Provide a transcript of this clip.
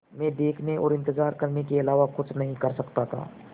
मैं देखने और इन्तज़ार करने के अलावा कुछ नहीं कर सकता था